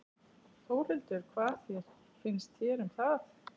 Þórhildur: Hvað finnst þér um það?